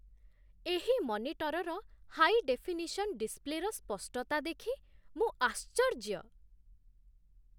ଏହି ମନିଟର୍‌ର high definition ଡିସ୍ପ୍ଲେର ସ୍ପଷ୍ଟତା ଦେଖି ମୁଁ ଆଶ୍ଚର୍ଯ୍ୟ।